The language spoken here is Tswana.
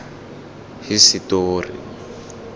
hisetori